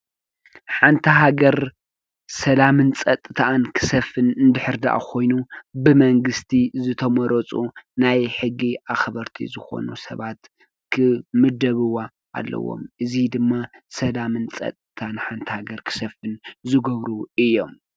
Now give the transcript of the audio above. ሓንቲ ሃገር ሰላምን ፀጥታኣን ክሰፍን እንድሕር ዳኣ ኾይኑ ብመንግስቲ ዝተመረፁ ናይ ሕጊ ኣኽበርቲ ዝኾኑ ሰባት ክምደብዋ ኣለዎም። እዚ ድማ ሰላምን ፀጥታን ሓንቲ ሃገር ክሰፍን ዝገብሩ እዮም፡፡